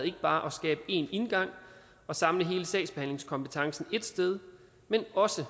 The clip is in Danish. ikke bare at skabe én indgang og samle hele sagsbehandlingskompetencen ét sted men også